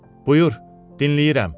Buyur, dinləyirəm.